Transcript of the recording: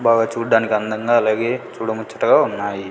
బాగా చూడ్డానికి అందంగా అలాగే చూడముచ్చటగా ఉన్నాయి.